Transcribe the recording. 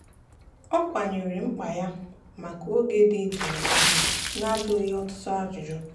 ọ kwanyeere mkpa ya maka oge dị jụụ ugwu n'ajụghị ya ọtụtụ ajụjụ.